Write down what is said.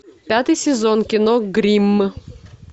пятый сезон кино гримм